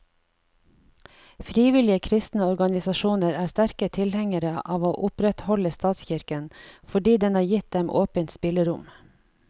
Frivillige kristne organisasjoner er sterke tilhengere av å opprettholde statskirken, fordi den har gitt dem åpent spillerom.